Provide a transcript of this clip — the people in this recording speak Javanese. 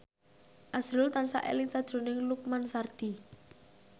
azrul tansah eling sakjroning Lukman Sardi